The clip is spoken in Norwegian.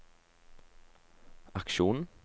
aksjonen